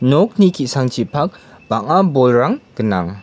nokni ki·sangchipak bang·a bolrang gnang.